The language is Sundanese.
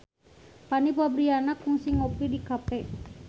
Fanny Fabriana kungsi ngopi di cafe